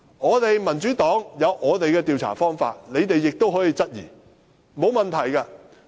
我們民主黨也有自己的調查方法，你們亦可以質疑，並無問題。